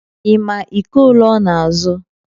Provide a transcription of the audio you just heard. Ị ma iko ole ọ na-azụ